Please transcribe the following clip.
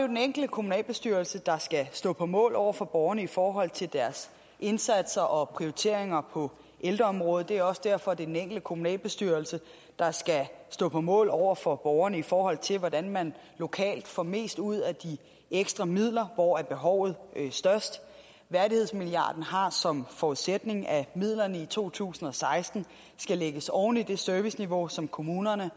den enkelte kommunalbestyrelse der skal stå på mål over for borgerne i forhold til deres indsatser og prioriteringer på ældreområdet det er også derfor at det er den enkelte kommunalbestyrelse der skal stå på mål over for borgerne i forhold til hvordan man lokalt får mest ud af de ekstra midler hvor er behovet størst værdighedsmilliarden har som forudsætning at midlerne i to tusind og seksten skal lægges oven i det serviceniveau som kommunerne